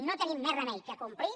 no tenim més remei que complir